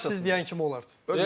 Yəni kaş siz deyən kimi olardı.